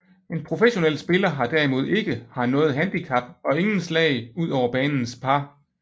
En professionel spiller har derimod ikke har noget handicap og ingen slag ud over banens par